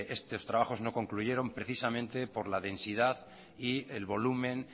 estos trabajos no concluyeron precisamente por la densidad y el volumen